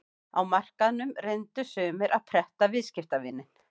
Á markaðnum reyndu sumir að pretta viðskiptavininn.